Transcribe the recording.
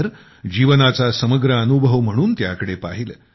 तर जीवनाचा समग्र अनुभव म्हणून त्याकडे पाहिले